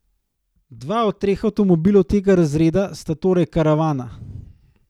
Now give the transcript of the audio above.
Dva od treh avtomobilov tega razreda sta torej karavana.